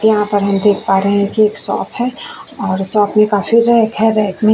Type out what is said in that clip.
यहाँ पर हम देख पा रहे हैं कि एक सॉप है और सॉप में काफी रैक है रैक में --